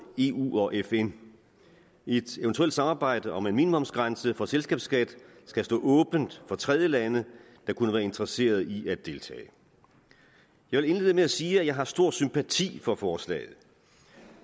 eu og fn et eventuelt samarbejde om en minimumsgrænse for selskabsskat skal stå åbent for tredjelande der kunne være interesseret i at deltage jeg vil indlede med at sige at jeg har stor sympati for forslaget